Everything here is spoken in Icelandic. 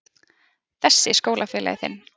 Þessi skólafélagi þinn?